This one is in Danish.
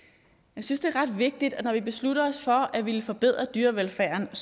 jeg synes det er ret vigtigt når vi beslutter os for at ville forbedre dyrevelfærden at